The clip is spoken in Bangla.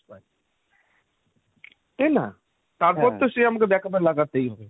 তাই না তারপর তো সে আমাকে backup এ লাগাতেই হবে।